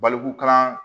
Balikukalan